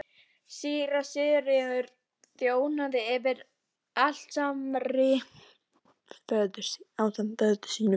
Síra Sigurður þjónaði fyrir altari ásamt föður sínum.